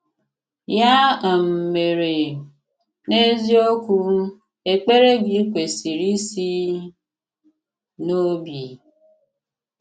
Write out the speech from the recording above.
Yà um mèrè, n’eziokwù, èkpèrè gị̀ kwesị̀rì isi n’òbì.